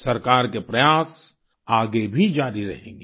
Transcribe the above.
सरकार के प्रयास आगे भी जारी रहेंगे